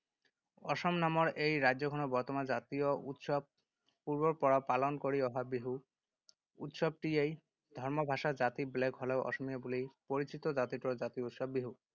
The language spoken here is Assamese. অসম নামৰ এই ৰাজ্যখনৰ বৰ্তমান জাতীয় উৎসৱ পূৰ্বৰ পৰা পালন কৰি অহা বিহু উৎসৱটিয়েই। ধৰ্ম ভাষা জাতি বেলেগ হ’লেও অসমীয়া বুলি পৰিচিত জাতিটোৰ জাতীয় উৎসৱ বিহু।